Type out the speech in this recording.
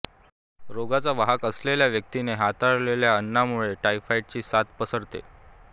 रोगाचा वाहक असलेल्या व्यक्तीने हाताळलेल्या अन्नामुळे टायफॉइडची साथ पसरते